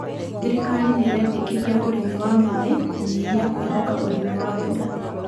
Thirikari niraendekithia ũrĩmi wa maĩ kũnyihia kwĩhoka ũrĩmi wa mbura